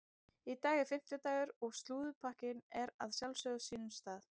Í dag er fimmtudagur og slúðurpakkinn er að sjálfsögðu á sínum stað.